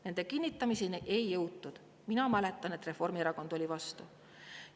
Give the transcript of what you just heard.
Nende kinnitamiseni ei jõutud: mina mäletan, et Reformierakond oli vastu.